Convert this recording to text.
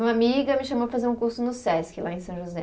Uma amiga me chamou para fazer um curso no Sesc, lá em São José.